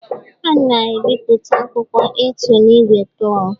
A na-ebipụta akwụkwọ A2 na igwe klord